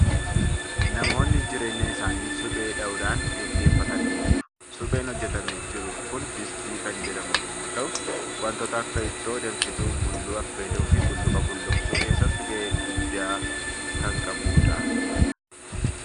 Namoonni jireenya isaanii suphee dhahuudhaan gaggeeffatan ni jiru. Supheen hojjetamee jiru kun distii kan jedhamu yommuu ta'u, wantoota akka ittoo danfisuu, mulluu affeeluu fi bulluqa bulluqsuu keessatti gahee guddaa kan qabudha.